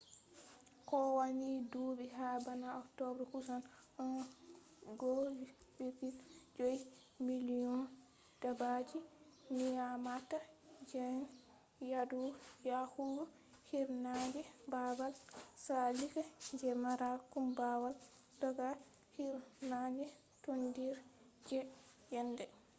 kowani dubi ha bana october kusan 1.5 million dabbaji nyamata gene yadu yahugo hirnange babal tsallika je mara kumbawal daga hirnange tondire je yende